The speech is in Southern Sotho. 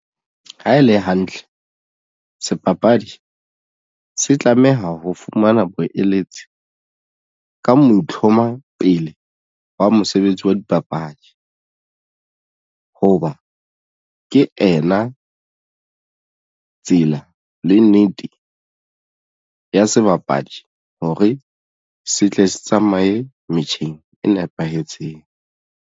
Ha e le hantle sebapadi se tlameha ho fumana boeletsi ka mo itlhompha pele wa mosebetsi wa dipapadi hoba ke ena tsela le nnete ya sebapadi hore se tle se tsamaye metjheng e nepahetseng.